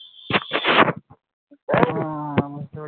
হ্যা বুঝতে পেরেছি